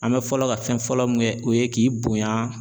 An bɛ fɔlɔ ka fɛn fɔlɔ min kɛ o ye k'i bonya